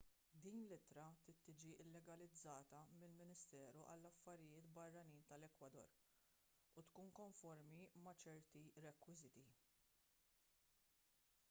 din l-ittra trid tiġi llegalizzata mill-ministeru għall-affarijiet barranin tal-ekwador u tkun konformi ma' ċerti rekwiżiti